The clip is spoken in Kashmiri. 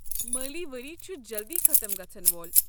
مٲلی ؤری چھُ جلدِیہ ختٕم گژھن وول۔